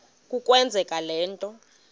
kukwenza le nto